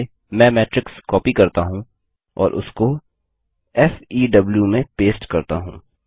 चलिए मैं matrix copy करता हूँ और उसको फेव में पेस्ट करता हूँ